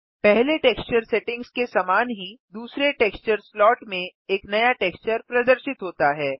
पहले texture settings के समान ही दूसरे टेक्सचर स्लॉट में एक नया टेक्सचर प्रदर्शित होता है